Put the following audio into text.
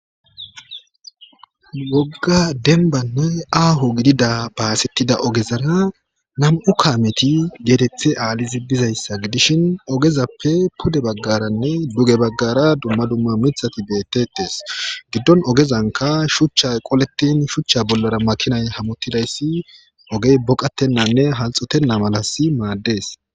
Woga debanne aho gidida ogezara nam'u kameti gedethe alidi bizayss gidishin ogezspe pude bagaranne duege bsgara dumma dumma mithati betetetes gidon ogezanka shuchay qoletn shucha bollara hamutidays ogey boqatenna mala mades